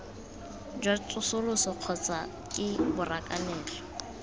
jwa tsosoloso kgotsa ke borakanelo